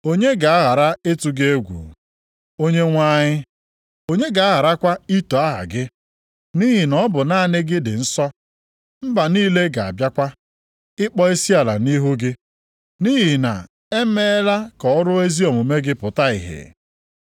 Onye ga-aghara ịtụ gị egwu, Onyenwe anyị, onye ga-agharakwa ito aha gị? Nʼihi na ọ bụ naanị gị dị nsọ. Mba niile ga-abịakwa ịkpọ isiala nʼihu gị, nʼihi na emeela ka ọrụ ezi omume gị pụta ìhè.”